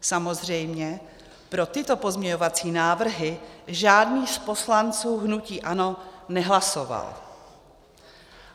Samozřejmě pro tyto pozměňovací návrhy žádný z poslanců hnutí ANO nehlasoval.